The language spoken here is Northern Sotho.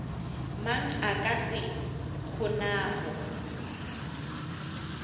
mang a ka se kgonago